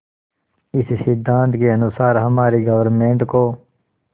इस सिद्धांत के अनुसार हमारी गवर्नमेंट को